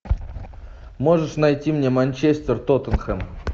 можешь найти мне манчестер тоттенхэм